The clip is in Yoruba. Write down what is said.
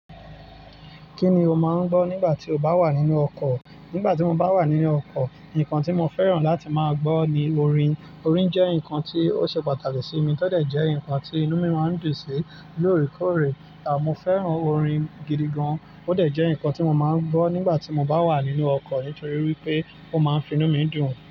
Kí ni o máa ń gbọ́ nígbà tí o bá wà nínú ọkọ̀? Nígbà tí mo bá wà nínú ọkọ̀, nǹkan tí mo fẹ́ràn láti máa gbọ́ ni orin. Orin jẹ́ nǹkan tí ó ṣe pàtàkì sí mi, tọ dẹ̀ jẹ́ nǹkan tí inú mí máa ń dùn sí lóòrèkóòrè. À mo fẹ́ràn orin gidi gan. Ó dẹ̀ jẹ́ nǹkan tí mo máa ń gbọ́ nígbà tí mo bá wà nínú ọkọ̀ nítorí wípé ó máa ń fi inú mi dùn.